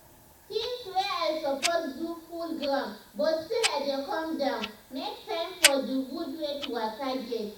tinz wey i suppose do full ground but still i dey calm down make time for d gud wey to waka get.